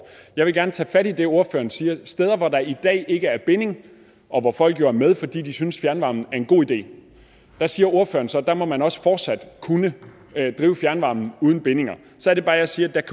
jeg vil gerne tage fat i det ordføreren siger altså at steder hvor der i dag ikke er binding og hvor folk jo er med fordi de synes fjernvarme er en god idé må man også fortsat kunne drive fjernvarme uden bindinger så er det bare jeg siger at